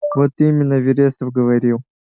вот именно вересов говорил